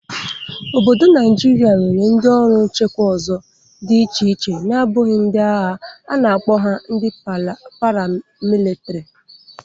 Obodo Naịjịrịa nwere ndị ọrụ nchekwa ọzọ dị iche iche nabụghị ndị agha. A na-akpo ha ndị paramilitiri.